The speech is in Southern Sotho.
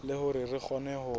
le hore re kgone ho